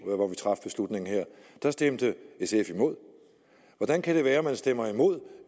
da stemte sf imod hvordan kan det være at man stemmer imod